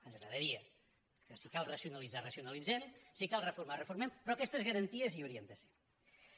ens agradaria que si cal racionalitzar ra·cionalitzem si cal reformar reformem però aquestes garanties hi haurien de ser